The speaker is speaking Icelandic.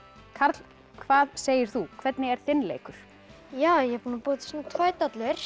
Karl hvað segir þú hvernig er þinn leikur ég er búinn að búa til tvær dollur